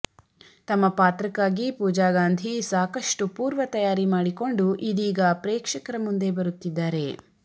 ತಮ್ಮ ಪಾತ್ರಕ್ಕಾಗಿ ಪೂಜಾಗಾಂಧಿ ಸಾಕಷ್ಟು ಪೂರ್ವತಯಾರಿ ಮಾಡಿಕೊಂಡು ಇದೀಗ ಪ್ರೇಕ್ಷಕರ ಮುಂದೆ ಬರುತ್ತಿದ್ದಾರೆ